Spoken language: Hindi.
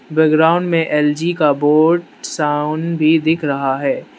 बैकग्राउंड में एल_जी का बोर्ड साउंड भी दिख रहा है।